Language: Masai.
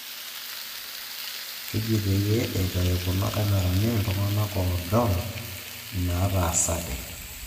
Keji peyie eitayu kuna kamerani iltung'anak oodol inaataasate